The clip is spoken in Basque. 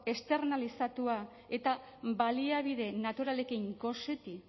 externalizatua eta baliabide naturalekin goseti